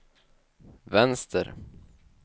vänster